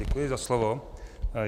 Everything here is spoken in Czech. Děkuji za slovo.